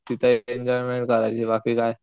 तिथे एन्जॉयमेंट करायची बाकी काही नाही.